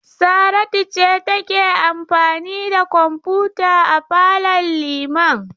Saratu ce take amfani da kwamfuta a falon Liman.